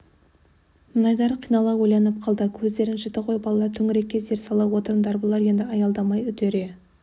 мінайдар қинала ойланып қалды көздерің жіті ғой балалар төңірекке зер сала отырыңдар бұлар енді аялдамай үдере